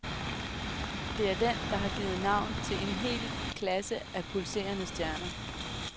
Det er den, der har givet navn til en hel klasse af pulserende stjerner.